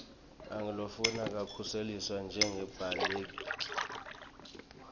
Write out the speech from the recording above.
angulofuna kukhuseliswa njengembaleki